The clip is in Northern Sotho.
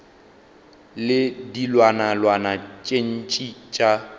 le dilwanalwana tše ntši tša